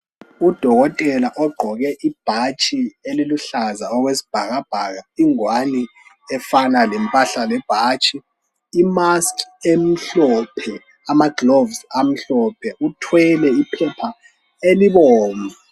Udokotela ogqoke ibhatshi eliluhlaza okwesibhakabhaka, ingwani efana lempahla lebhatshi imask emhlophe amagloves amhlophe uthwele iphepha elibomvu.